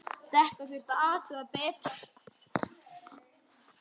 Þetta þurfti að athuga betur.